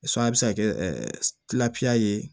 a bɛ se ka kɛ ye